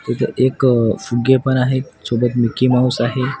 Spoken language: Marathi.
इथं एक फुगे पण आहेत सोबत मिकी माऊस आहे.